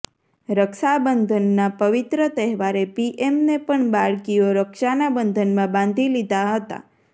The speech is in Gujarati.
રક્ષાબંધના પવિત્ર તહેવારે પીએમને પણ બાળકીઓ રક્ષાના બંધનમાં બાંધી લીધા હતા